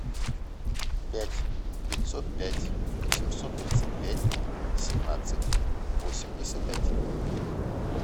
пять пятьсот пять семьсот тридцать пять семнадцать восемьдесят один